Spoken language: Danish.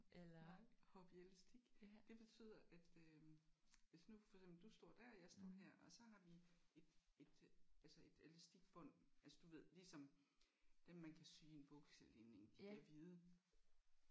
Nej hoppe i elastik. Det betyder at øh hvis nu for eksempel du står der jeg står her og så har vi et et altså et elastikbånd altså du ved ligesom dem man kan sy i en bukselinning de der hvide